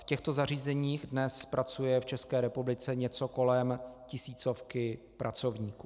V těchto zařízeních dnes pracuje v České republice něco kolem tisícovky pracovníků.